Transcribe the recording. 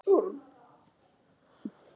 Evfemía, er bolti á miðvikudaginn?